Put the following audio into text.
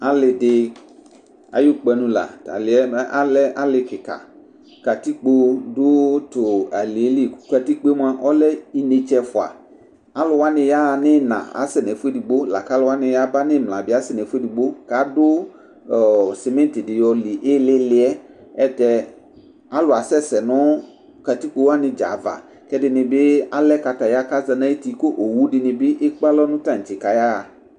Alɩdɩ ayʋ kpanu la T'alɩ yɛ alɛ alɩ kɩka Katikpo dʋ tʋ alɩ yɛ li kʋ katikpo yɛ mʋa ɔlɛ inetse ɛfua Alʋwanɩ yaɣa nɩɩna asɛ n'ɛƒʋ edigbo, lakalʋwanɩ yaba n'ɩmla bɩ asɛ n'ɛfʋ edigbo k'adʋ ɔ cimentɩdɩ yoli iili yɛ, ɛtɛ, alʋ asɛsɛ nʋ katikpo awnɩ dzaa ava k'ɛdɩnɩ bɩ alɛ kataya k'aza n'ayuti k'owu dɩnɩ bɩ ekpe alɔ nʋ tantse kaya ɣa